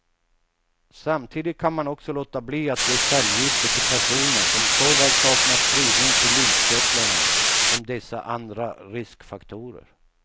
Samtidigt kan man också låta bli att ge cellgifter till personer som såväl saknar spridning till lymfkörtlarna som dessa andra riskfaktorer.